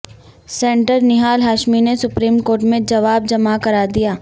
senator Nihal Hashmi نے supreme court میں جواب جمع کرادیا